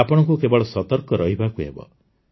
ଆପଣଙ୍କୁ କେବଳ ସତର୍କ ରହିବାକୁ ହେବ